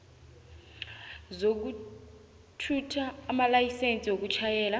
zokuthutha amalayisense wokutjhayela